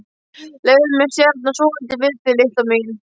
Leyfðu mér að stjana svolítið við þig, litla mín.